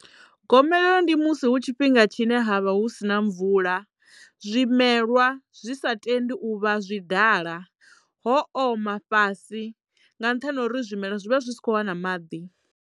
Gomelelo ndi musi hu tshifhinga tshine ha vha hu sina mvula zwimelwa zwi sa tendi u vha zwi dala ho oma fhasi nga nṱhani ha uri zwimela zwi vha zwi si kho wana maḓi.